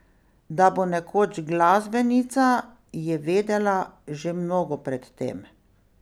Da bo nekoč glasbenica, je vedela že mnogo pred tem.